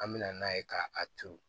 An bɛ na n'a ye ka a turu